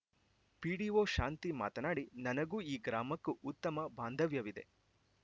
PDO Shanti ಮಾತನಾಡಿ ನನಗೂ ಈ ಗ್ರಾಮಕ್ಕೂ ಉತ್ತಮ ಬಾಂಧವ್ಯವಿದೆ